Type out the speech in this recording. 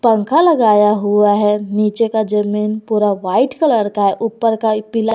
पंखा लगाया हुआ है नीचे का जमीन पूरा व्हाइट कलर का है ऊपर का पिला--